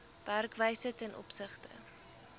werkwyse ten opsigte